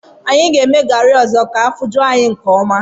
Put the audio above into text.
Anyị ga-eme garị ọzọ ka afọ ju anyị nke ọma